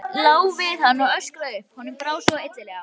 Lá við að hann öskraði upp, honum brá svo illilega.